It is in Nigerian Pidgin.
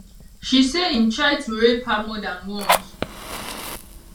she say im try to rape her more dan once